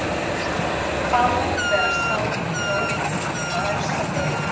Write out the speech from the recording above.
Hvað opinberast þá í dóminum á efsta degi?